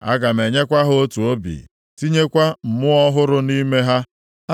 Aga m enyekwa ha otu obi, tinyekwa mmụọ ọhụrụ nʼime ha.